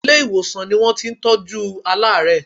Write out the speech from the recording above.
Ilé-ìwòsàn ni wọ́n ti ń tọjú aláàárẹ̀.